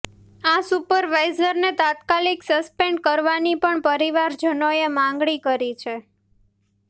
આ સુપરવાઇઝરને તાત્કાલીક સસ્પેન્ડ કરવાની પણ પરિવારજનોએ માગણી કરી છે